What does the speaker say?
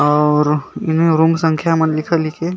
और रूम संखियाँ मन लिखे-लिखे--